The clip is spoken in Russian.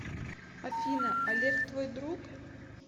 афина олег твой друг